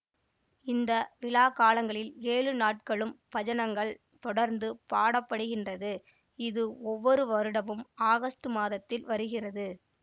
இந்த விழாக்காலங்களில் ஏழு நாட்களும் பஜனங்கள் தொடர்ந்து பாடப்படுகின்றது இது ஒவ்வொரு வருடமும் ஆகஸ்ட் மாதத்தில் வருகிறது